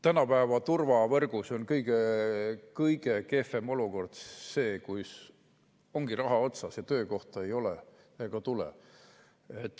Tänapäeva turvavõrgus on kõige kehvem olukord see, kui raha on otsas, aga töökohta ei ole ega tule.